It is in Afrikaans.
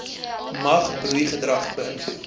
mag broeigedrag beïnvloed